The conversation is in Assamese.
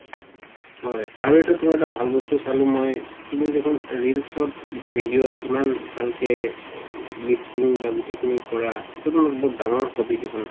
হয় আৰু এটা তুমাৰ ভাল বস্তু চালো মই তুমি দেখোন ৰীলচত যিতো video ইমান ভালকে lisping বা গুটেই খিনি কৰা এইটো বহুত ডাঙৰ দেখোন